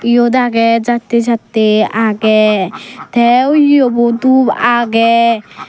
iyot agey jattey jattey agey te wuyobo dub agey.